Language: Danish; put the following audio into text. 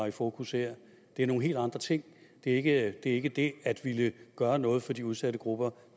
i fokus her det er nogle helt andre ting det er ikke det at ville gøre noget for de udsatte grupper